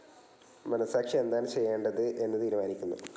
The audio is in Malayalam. മനസാക്ഷി എന്താണ് ചെയ്യേണ്ടത് എന്ന് തീരുമാനിക്കുന്നു.